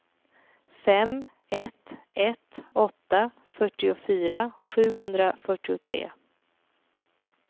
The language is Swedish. fem ett ett åtta fyrtiofyra sjuhundrafyrtiotre